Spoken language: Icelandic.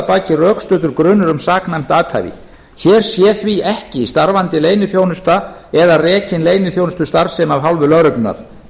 baki rökstuddur grunur um saknæmt athæfi hér sé því ekki starfandi leyniþjónusta eða rekin leyniþjónustustarfsemi af hálfu lögreglunnar